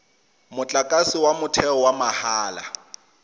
motlakase wa motheo wa mahala